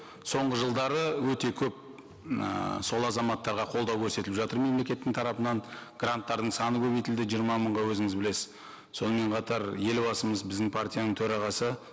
соңғы жылдары өте көп ыыы сол азаматтарға қолдау көрсетіліп жатыр мемлекеттің тарапынан гранттардың саны көбейтілді жиырма мыңға өзіңіз білесіз сонымен қатар елбасымыз біздің партияның төрағасы